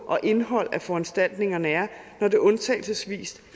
og indholdet af foranstaltningerne er når det undtagelsesvis